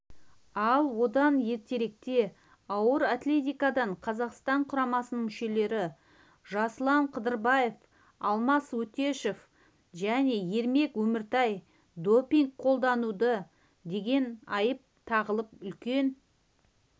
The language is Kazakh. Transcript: ал одан ертеректе ауыр атлетикадан қазақстан құрамасының мүшелері жасұлан қыдырбаев алмас өтешов және ермек өміртай допинг қолданды деген айып тағылып үлкен